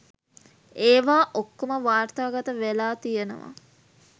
ඒවා ඔක්කොම වාර්තාගත වෙලා තියෙනවා